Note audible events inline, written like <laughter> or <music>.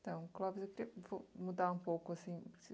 Então, Clóvis, eu <unintelligible> vou mudar um pouco assim.